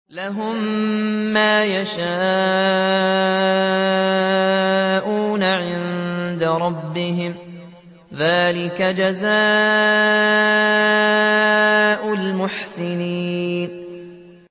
لَهُم مَّا يَشَاءُونَ عِندَ رَبِّهِمْ ۚ ذَٰلِكَ جَزَاءُ الْمُحْسِنِينَ